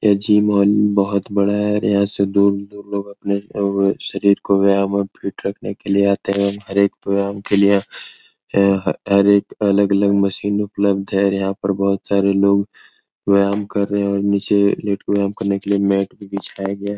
ये जिम अन बहुत बड़ा है अपने शरीर को व्यायाम और फिट रखने के लिए आते हैं हर एक व्यायाम के लिए हर कार्य के लिए अलग-अलग मशीन उपलब्ध है यहां बहुत से लोग व्यायाम कर रहे है नीचे लेट के व्यायाम करने के लिए मेट भी बिछाया गया है ।